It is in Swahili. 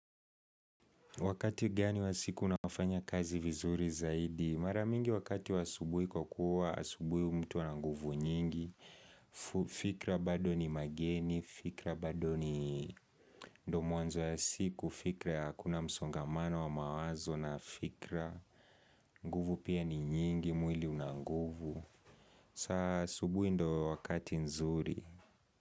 Wakati gani wa siku unafanya kazi vizuri zaidi? Mara mingi wakati wa asubuhi kwa kuwa asubuhi mtu ana nguvu nyingi, fikra bado ni mageni, fikra bado ni do mwanzo ya siku, fikra ya hakuna msongamano wa mawazo na fikra, nguvu pia ni nyingi, mwili unanguvu, saa asubuhi ndo wakati nzuri.